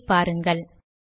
வெளியீட்டை பாருங்கள்